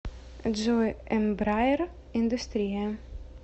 джой эмбраер индустрия